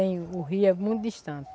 O rio é muito distante.